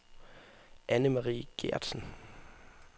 Anne-Marie Geertsen